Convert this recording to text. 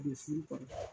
U bɛ furu